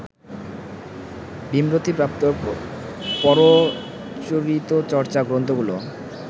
ভীমরতিপ্রাপ্তর পরচরিতচর্চা গ্রন্থগুলো